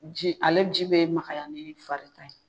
Ji ale ji bɛ magaya ni fari ta ye.